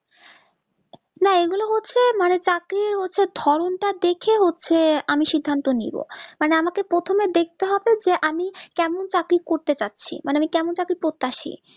না এগুলো হচ্ছে মানে চাকরি হচ্ছে ঢং তা দেখে না সে আমি সিদ্বান্ত নিবো মানে আমাকে প্রথমে দেখতে হবে যে আমি কেমন চাকরি করতে চাছি মানে আমি কেমন চাকরি প্রত্যাশী